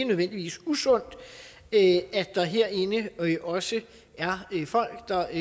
nødvendigvis usundt at der herinde også er folk der